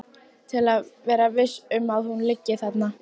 Til að vera viss um að hún liggi þarna.